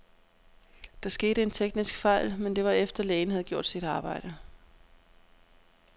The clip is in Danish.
Der skete en teknisk fejl, men det var efter, lægen havde gjort sit arbejde.